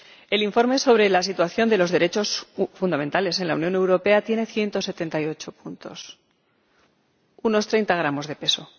El informe sobre la situación de los derechos fundamentales en la Unión Europea tiene 178 apartados unos 30 gramos de peso.